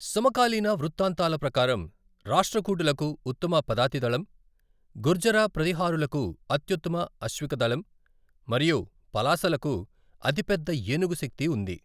సమకాలీన వృత్తాంతాల ప్రకారం, రాష్ట్రకూటులకు ఉత్తమ పదాతిదళం, గుర్జరా ప్రతిహారులకు అత్యుత్తమ అశ్వికదళం మరియు పలాసలకు అతిపెద్ద ఏనుగు శక్తి ఉంది.